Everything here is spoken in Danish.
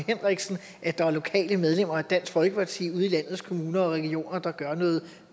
henriksen at der er lokale medlemmer af dansk folkeparti ude i landets kommuner og regioner der gør noget